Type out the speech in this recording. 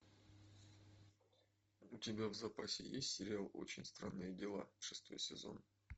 у тебя в запасе есть сериал очень странные дела шестой сезон